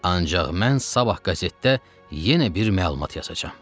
Ancaq mən sabah qəzetdə yenə bir məlumat yazacam.